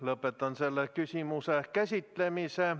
Lõpetan selle küsimuse käsitlemise.